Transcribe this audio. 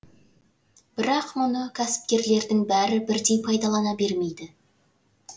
бірақ мұны кәсіпкерлердің бәрі бірдей пайдалана бермейді